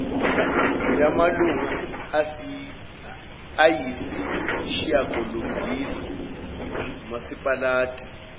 yamalunga ayisishiyagalombili umasipalati